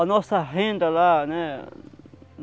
A nossa renda lá, né?